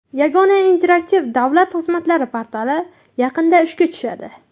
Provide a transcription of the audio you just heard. Yagona interaktiv davlat xizmatlari portali yaqinda ishga tushadi.